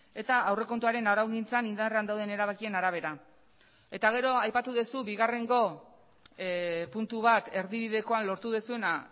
eta aurrekontuaren araugintzan indarrean dauden erabakien arabera eta gero aipatu duzu bigarrengo puntu bat erdibidekoan lortu duzuena